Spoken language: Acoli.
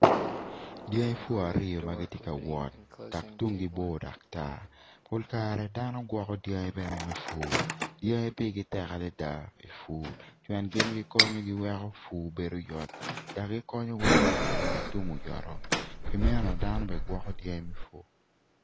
Dyangi pur aryo ma gitye ka wot dok tungi bor dok tar pol kare dano gwoko dyangi bene me pur dyangi pirgi tek adada pi pur pien gin gikonyo giweko pur bedo yot konyo weko pur tum oyoto pi meno dano bene gwoko dyangi me pur.